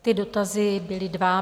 Ty dotazy byly dva.